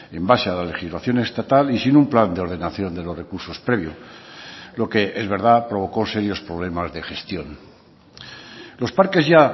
en base a la legislación estatal y sin un plan de ordenación de los recursos previo lo que es verdad provocó serios problemas de gestión los parques ya